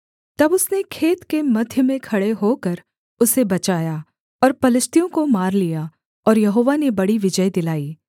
तब उसने खेत के मध्य में खड़े होकर उसे बचाया और पलिश्तियों को मार लिया और यहोवा ने बड़ी विजय दिलाई